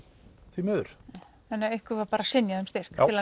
því miður þannig ykkur var synjað um styrk til að